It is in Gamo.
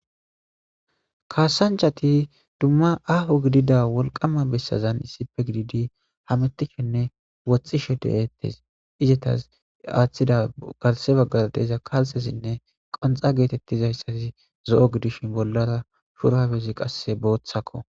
Kaasanchati dumma aaho gidida wolqama bessazan issife gididi hamitishenne wothxishe dehettes izetas aaththida galse baggar deeza kalsesinne qonxa geetettizayssasi zo'o gidishin bollara shurawezi qasse booththakko.